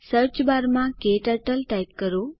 સર્ચબારમાં ક્ટર્ટલ ટાઇપ કરો